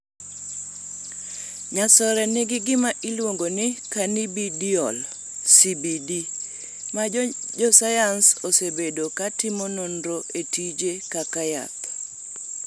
Nyasore nigi gima iluongo ni cannabidiol (CBD), ma josayans osebedo ka timo nonro e tije kaka yath.